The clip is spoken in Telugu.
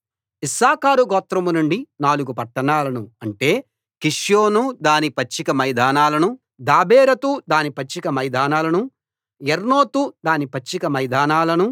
ఇశ్శాఖారు గోత్రం నుండి నాలుగు పట్టణాలను అంటే కిష్యోను దాని పచ్చిక మైదానాలనూ దాబెరతు దాని పచ్చిక మైదానాలనూ యర్మూతు దాని పచ్చిక మైదానాలనూ